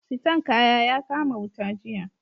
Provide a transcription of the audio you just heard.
Siton kaya ya kama wuta jiya